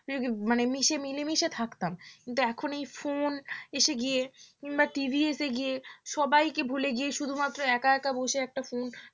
মানে মিসে~ মিলেমিশে থাকতাম কিন্তু এখন এই phone এসে গিয়ে কিংবা TV এসে গিয়ে সবাইকে ভুলে গিয়ে শুধুমাত্র একা একা বসে একটা phone